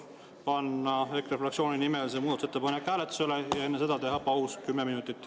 Palun EKRE fraktsiooni nimel panna see muudatusettepanek hääletusele ja enne seda teha paus kümme minutit.